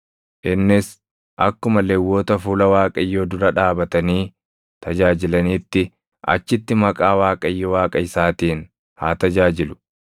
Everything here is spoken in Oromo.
innis akkuma Lewwota fuula Waaqayyoo dura dhaabatanii tajaajilaniitti achitti maqaa Waaqayyo Waaqa isaatiin haa tajaajilu.